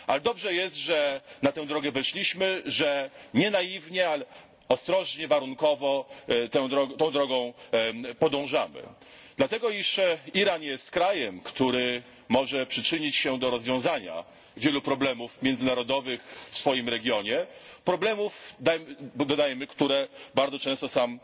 Ale dobrze jest, że na tę drogę weszliśmy, że nie naiwnie, ale ostrożnie, warunkowo tą drogą podążamy, dlatego iż Iran jest krajem, który może przyczynić się do rozwiązania wielu problemów międzynarodowych w swoim regionie, problemów dodajmy, które bardzo często sam